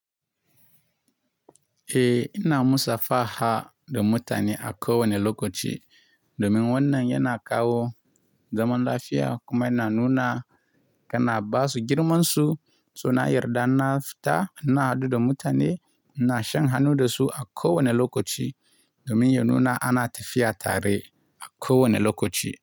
Eh ina musafaha da mutane a kowane lokaci domin wannan yana kawo zaman lafiya kuma yana nuna kana ba su girmansu, suna yarda na fita, na haɗu da mutane, na shan hannu da su a kowane lokaci domin ya nuna ana tafiya tare a kowane lokaci.